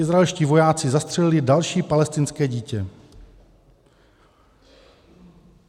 Izraelští vojáci zastřelili další palestinské dítě.